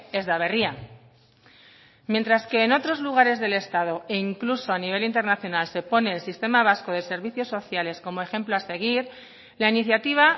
ez da berria mientras que en otros lugares del estado e incluso a nivel internacional se pone el sistema vasco de servicios sociales como ejemplo a seguir la iniciativa